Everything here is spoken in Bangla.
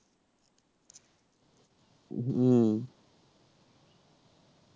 হুম